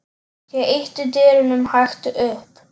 Ég ýtti dyrunum hægt upp.